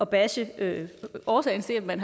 bashe årsagen til at man